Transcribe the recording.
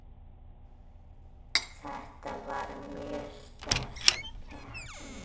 Þetta var mjög sterk keppni.